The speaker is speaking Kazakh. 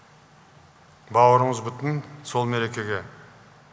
бауырымыз бүтін сол мерекеге